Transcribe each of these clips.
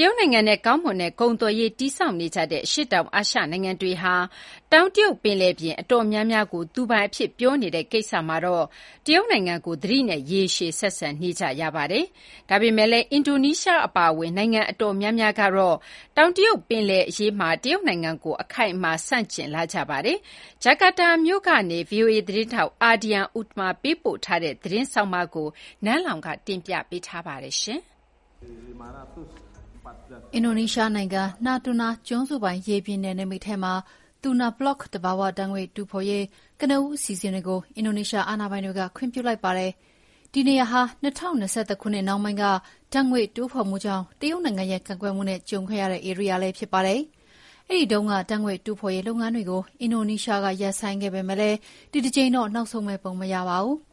တရုတ်နိုင်ငံနဲ့ကောင်းမွန်တဲ့ကုန်သွယ်ရေးတည်ဆောက်နေကြတဲ့ အရှေ့တောင်အာရှနိုင်ငံတွေဟာ တောင်တရုတ်ပင်လယ်ပြင်အတော်များများကို သူပိုင်အဖြစ်ပြောဆိုနေတဲ့ကိစ္စမှာတော့ တရုတ်နိုင်ငံကိုသတိနဲ့ ရေရှည်ဆက်ဆံနေကြပါတယ်။ ဒါပေမယ့်လည်း အင်ဒိုနီးရှားအပါအဝင် နိုင်ငံအတော်များများကတော့တောင်တရုတ်ပင်လယ်အရေးမှာ တရုတ်နိုင်ငံကို အခိုင်အမာဆန့်ကျင်လာကြပါတယ်။ ဂျကာတာမြို့ကနေ ဗွီအိုအေသတင်းထောက် AHADIAN UTAMA ပေးပို့ထားတဲ့သတင်းကို နန်းလောင်ဝ်က တင်ပြထားပါတယ်။ အင်ဒိုနီးရှားနိုင်ငံ၊ Natuna ကျွန်းစုပိုင် ရေပြင်နယ်နိမိတ်ထဲမှာ Tuna Block သဘာဝဓာတ်ငွေ့တူးဖော်ရေး ကနဦးအစီအစဉ်တွေကို အင်ဒိုနီးရှားအာဏာပိုင်တွေက ခွင့်ပြုလိုက်ပါတယ်။ ဒီနေရာဟာ ၂၀၂၁ ခုနှစ်နှောင်းပိုင်းက ဓာတ်ငွေ့တူးဖော်မှုကြောင့် တရုတ်နိုင်ငံရဲ့ကန့်ကွက်မှုနဲ့ ကြုံခဲ့ရတဲ့ဧရိယာလည်းဖြစ်ပါတယ်။ အဲဒီတုန်းက ဓာတ်ငွေ့တူးဖော်ရေးလုပ်ငန်းတွေကို အင်ဒိုနီးရှားကရပ်ဆိုင်းခဲ့ပေမယ့် ဒီတကြိမ်တော့ နောက်ဆုတ်မယ့်ပုံမရပါဘူး။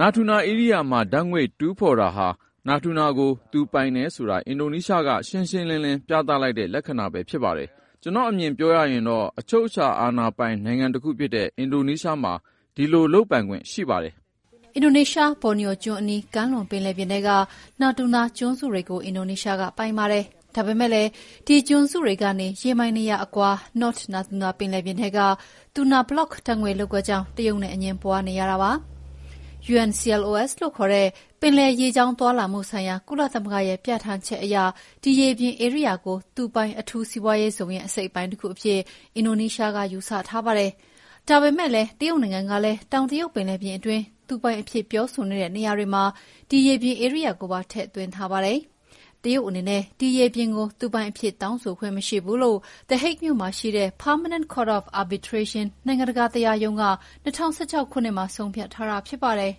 “Natuna ဧရိယာမှာ ဓာတ်ငွေ့တူးဖော်တာဟာ Natuna ကို သူပိုင်တယ်ဆိုတာ အင်ဒိုနီးရှားက ရှင်းရှင်းလင်းလင်းပြသလိုက်တဲ့ လက္ခဏာဖြစ်ပါတယ်။ ကျနော့်အမြင်အရပြောရရင် အချုပ်အခြာအာဏာပိုင်နိုင်ငံတခုဖြစ်တဲ့ အင်ဒိုနီးရှားမှာ ဒီလိုလုပ်ပိုင်ခွင့်ရှိပါတယ်။” အင်ဒိုနီးရှား၊ ဘော်နီယိုကျွန်းအနီး ကမ်းလွန်ပြင်ထဲက Natuna ကျွန်းစုတွေကို အင်ဒိုနီးရှားပိုင်ပါတယ်။ ဒါပေမယ့်လည်း ဒီကျွန်းတွေကနေ ရေမိုင် ၂၀၀ အကွာ၊ North Natuna ပင်လယ်ပြင်ထဲက Tuna Block ဓာတ်ငွေ့လုပ်ကွက်ကြောင့် တရုတ်နဲ့ အငြင်းပွါးနေရတာပါ။ UNCLOS လို့ခေါ်တဲ့ ပင်လယ်ရေကြောင်းသွားလာမှုဆိုင်ရာ ကုလသမဂ္ဂရဲ့ပြဌာန်းချက် အရ ဒီရေပြင်ဧရိယာကို သူပိုင် အထူးစီးပွါးရေးဇုံရဲ့အစိတ်အပိုင်းတခုအဖြစ် အင်ဒိုနီးရှားက ယူဆထားပါတယ်။ ဒါပေမယ့်လည်း တရုတ်နိုင်ငံကလည်း တောင်တရုတ်ပင်လယ်ပြင်အတွင်း သူပိုင်အဖြစ်ပြောဆိုနေတဲ့နေရာတွေမှာ ဒီရေပြင်ဧရိယာကိုပါထည့်သွင်းထားပါတယ်။ တရုတ်အနေနဲ့ ဒီရေပြင်ကို သူပိုင်အဖြစ်တောင်းဆိုခွင့်မရှိဘူးလို့ The Hague မြို့မှာရှိတဲ့ Permanent Court of Arbitration နိုင်ငံတကာတရားရုံးက ၂၀၁၆ ခုနှစ်မှာ ဆုံးဖြတ်ထားတာဖြစ်ပါတယ်။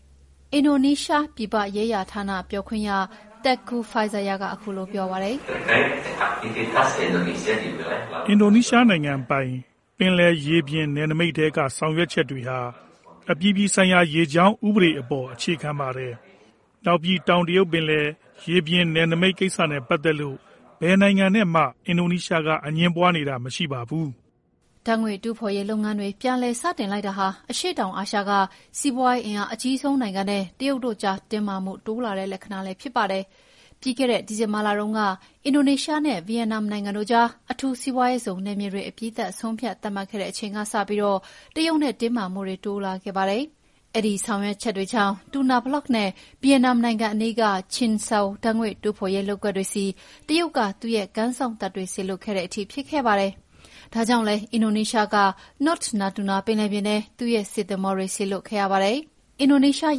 “ အင်ဒိုနီးရှားနိုင်ငံပိုင် ပင်လယ်ရေပြင်နယ်နိမိတ်ထဲက ဆောင်ရွက်ချက်တွေဟာ အပြည်ပြည်ဆိုင်ရာရေကြောင်းဥပဒေအပေါ် အခြေခံပါတယ်။ နောက်ပြီး တောင်တရုတ်ပင်လယ် ရေပြင်နယ်နိမိတ်ကိစ္စနဲ့ပတ်သက်လို့ ဘယ်နိုင်ငံနဲ့မှ အင်ဒိုနီးရှားကအငြင်းပွါးနေတာမရှိပါဘူး။” ဓာတ်ငွေ့တူးဖာ်ရေးလုပ်ငန်းတွေ ပြန်လည်စတင်လိုက်တာဟာ အရှေ့တောင်အာရှက စီးပွါးရေးအင်အားအကြီးဆုံးနိုင်ငံနဲ့ တရုတ်တို့ကြား တင်းမာမှုတိုးလာတဲ့လက္ခဏာလည်းဖြစ်ပါတယ်။ ပြီးခဲ့တဲ့ ဒီဇင်ဘာလတုန်းက အင်ဒိုနီးရှားနဲ့ ဗီယက်နမ်နိုင်ငံတို့ကြား အထူးစီးပွါးရေးဇုံနယ်မြေတွေ အပြီးသတ်ဆုံးဖြတ်သတ်မှတ်ခဲ့တဲ့အချိန်ကစပြီး တရုတ်နဲ့တင်းမာမှုတွေတိုးလာခဲ့တာပါ။ အဲဒီဆောင်ရွက်ချက်ကြောင့် Tuna Block နဲ့ ဗီယက်နမ်နိုင်ငံအနီးက Chin Sao ဓာတ်ငွေ့တူးဖော်ရေးလုပ်ကွက်တွေဆီ တရုတ်က သူ့ရဲ့ကမ်းစောင့်တပ်တွေစေလွှတ်ခဲ့တဲ့ထိ ဖြစ်ခဲ့ပါတယ်။ ဒါကြောင့်လည်း အင်ဒိုနီးရှားက North Natuna ပင်လယ်ပြင်ထဲ သူ့ရဲ့စစ်သင်္ဘောတွေစေလွှတ်ခဲ့ရပါတယ်။ “ တကယ်လို့များ တ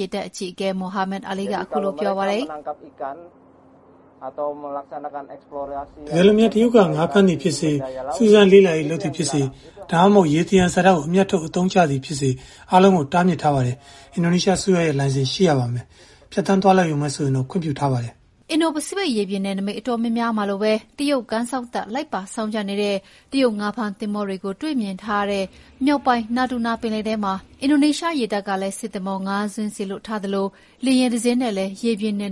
ရုတ်က ငါးဖမ်းတာဖြစ်စေ၊ စူးစမ်းလေ့လာရေးလုပ်သည်ဖြစ်စေ ၊ဒါမှမဟုတ် ရေသယံဇာတကို အမြတ်ထုတ်အသုံးချသည်ဖြစ်စေ အားလုံးကို တားမြစ်ထားပါတယ်။ အင်ဒိုနီးရှားအစိုးရရဲ့ လိုင်စင်ရှိရပါမယ်။ ဖြတ်သန်းသွားလာရုံပဲဆိုရင်တော့ ခွင့်ပြုပါတယ်။” အင်ဒိုပစိဖိတ်ရေပြင်နယ်နိမိတ်အတော်များများမှာလိုပဲ တရုတ်ကမ်းစောင့်တပ် လိုက်ပါစောင့်ကြပ်နေတဲ့ တရုတ်ငါးဖမ်းသင်္ဘောတွေကိုတွေ့မြင်ထားရတဲ့ မြောက်ပိုင်း Natuna ပင်လယ်ထဲမှာ အင်ဒိုနီးရှားရေတပ်က စစ်သင်္ဘော ၅ စင်းစေလွှတ်ထားသလို လေယာဉ်တစင်းနဲ့လည်း ရေပြင်နယ်န